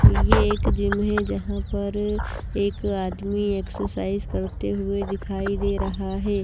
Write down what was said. ये एक जिम हैजहां पर एक आदमी एक्सरसाइज करते हुए दिखाई दे रहा है।